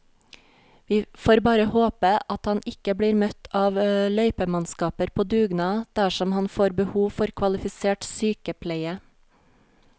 Vi får bare håpe at han ikke blir møtt av løypemannskaper på dugnad dersom han får behov for kvalifisert sykepleie.